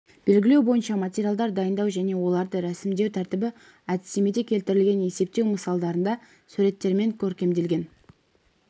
белгілеу бойынша материалдар дайындау және оларды ресімдеу тәртібі әдістемеде келтірілген есептеу мысалдарында суреттермен көркемделген